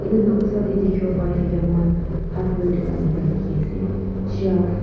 etu noksa te dekhi bo Pari thaka Amar khan hardware dukan ekta dekhi ase shelf --